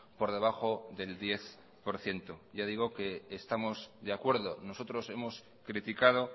por debajo del diez por ciento yo digo que estamos de acuerdo nosotros hemos criticado